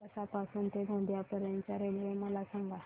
दरेकसा पासून ते गोंदिया पर्यंत च्या रेल्वे मला सांगा